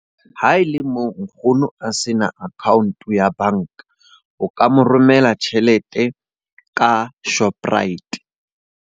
Ha e le moo nkgono a se na account-o ya banka. O ka mo romela tjhelete ka Shoprite.